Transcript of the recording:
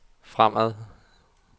fremad